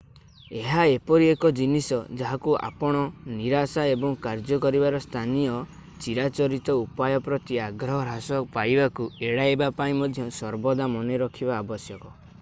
ଏହା ଏପରି ଏକ ଜିନିଷ ଯାହାକୁ ଆପଣ ନିରାଶା ଏବଂ କାର୍ଯ୍ୟ କରିବାର ସ୍ଥାନୀୟ ଚିରାଚରିତ ଉପାୟ ପ୍ରତି ଆଗ୍ରହ ହ୍ରାସ ପାଇବାକୁ ଏଡ଼ାଇବା ପାଇଁ ମଧ୍ୟ ସର୍ବଦା ମନେ ରଖିବା ଆବଶ୍ୟକ